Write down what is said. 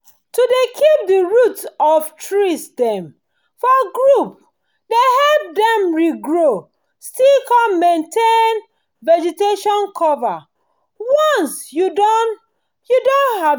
to dey keep the root of trees dem for group dey help dem regrow still come maintain vegetation cover once you don you don harvest